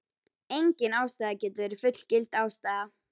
Engin ástæða getur verið fullgild ástæða.